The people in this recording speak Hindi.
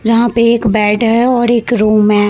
जहाँ पे एक बेड है और एक रूम है।